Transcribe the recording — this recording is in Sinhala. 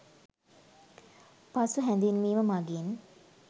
පසු හැදින්වීම මගින්